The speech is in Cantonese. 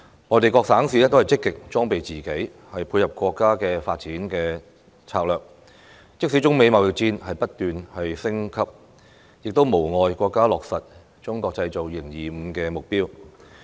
內地各省市均積極裝備自己，配合國家的發展策略，即使中美貿易戰不斷升級，亦無礙國家落實"中國製造 2025" 的目標。